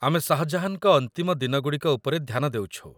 ଆମେ ଶାହ ଜାହାନଙ୍କ ଅନ୍ତିମ ଦିନଗୁଡ଼ିକ ଉପରେ ଧ୍ୟାନ ଦେଉଛୁ।